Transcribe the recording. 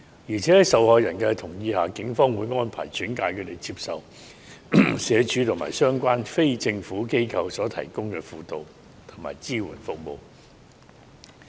況且，在受害人同意下，警方會安排轉介他們接受社署及相關非政府機構所提供的輔導和支援服務。